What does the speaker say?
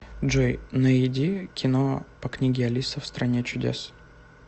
джой наиди кино по книге алиса в стране чудес